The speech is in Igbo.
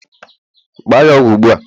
gbaa ya ọgwụ ugbu a!